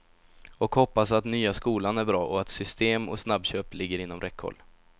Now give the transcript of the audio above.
Och hoppas att nya skolan är bra, och att system och snabbköp ligger inom räckhåll.